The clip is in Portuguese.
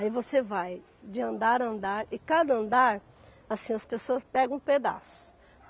Aí você vai de andar a andar e cada andar, assim as pessoas pegam um pedaço.